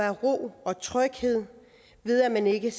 ro og tryghed ved at man ikke